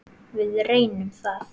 Við reynum það.